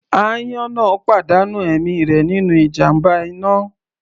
Àyàn náà pàdánù ẹ̀mí rẹ̀ nínú ìjàmbá iná.